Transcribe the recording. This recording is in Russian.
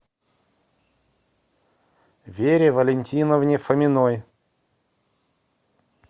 вере валентиновне фоминой